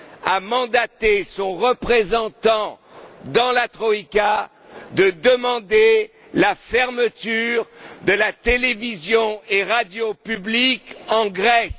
a chargé son représentant dans la troïka de demander la fermeture de la télévision et de la radio publiques en Grèce?